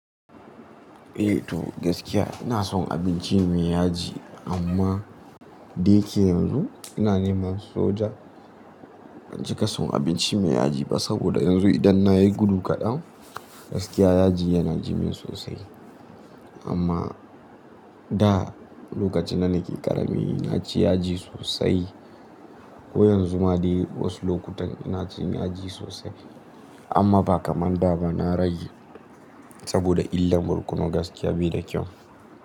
Eh to gaskiya ina son abinci mai yaji amma da yake yanzu ina neman soja ban cika son abinci mai yaji ba saboda yanzu idan na yi gudu kaɗan gaskiya yaji yana ji min sosai. Amma da lokacin da nake ƙarami na ci yaji sosai ko yanzu ma dai wasu lokutan ina cin yaji sosai amma ba kamar da ba na rage saboda illar borkono gaskiya bai da kyau.